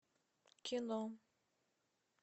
кино